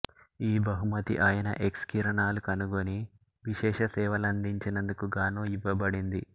ఈ బహుమతి ఆయన ఎక్స్ కిరణాలు కనుగొని విశేష సేవలందించినందుకు గాను యివ్వబడింది